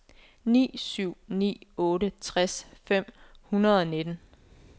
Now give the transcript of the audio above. ni syv ni otte tres fem hundrede og nitten